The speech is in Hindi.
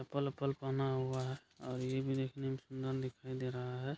चप्पल-ओप्पल पहना हुआ है और ये भी देखने में सुंदर दिखाई दे रहा है।